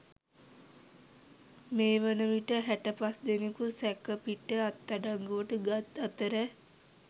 මේ වන විට හැටපස්දෙනකු සැකපිට අත්අඩංගුවට ගත් අතර